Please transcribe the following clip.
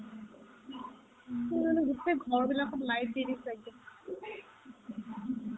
কি মানে গোটেই ঘৰবিলাকত লাইট দি দিছে একদম